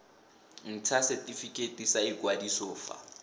ntsha setifikeiti sa ikwadiso fa